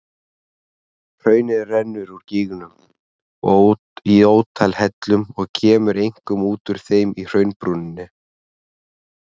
Hraunið rennur úr gígnum í ótal hellum og kemur einkum út úr þeim í hraunbrúninni.